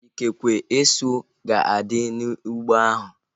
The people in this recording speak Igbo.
Ikekwe, esu ga-adị n'ụgbọ ahu